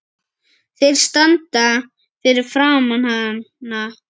Þeir standa fyrir framan hana.